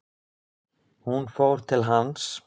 Hún fór til hans.